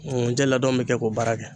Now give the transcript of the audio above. nkunjɛ ladon min kɛ k'o baara kɛ.